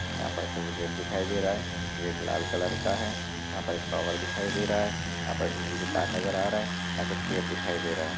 यहाँ पर कुछ गेट दिखाई दे रहा है गेट लाल कलर का है यहाँ पर एक टावर दिखाई दे रहा है यहाँ पास बिजली का तार नज़र आ रहा है कुछ पेड़ दिखाई दे रहा है।